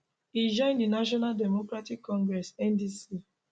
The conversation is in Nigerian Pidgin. e join di national democratic congress ndc